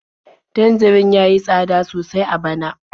Tanjarin ya yi tsada sosai a bana.